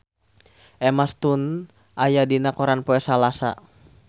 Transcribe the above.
Emma Stone aya dina koran poe Salasa